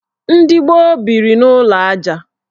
Ndị gboo biri n' ụlọ aja.